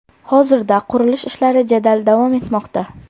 Hozirda qurilish ishlari jadal davom etmoqda.